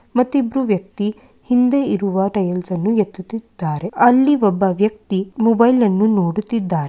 ಮತ್ತೆ ಇಬ್ಬರು ವ್ಯಕ್ತಿ ಹಿಂದೆ ಇರುವ ಟೈಲ್ಸ್‌ನ್ನು ಎತ್ತುತ್ತಿದ್ದಾರೆ. ಅಲ್ಲಿ ಒಬ್ಬ ವ್ಯಕ್ತಿ ಮೊಬೈಲ್‌ನ್ನು ನೋಡುತ್ತಿದ್ದಾರೆ.